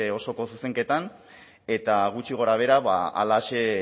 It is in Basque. osoko zuzenketan eta gutxi gorabehera halaxe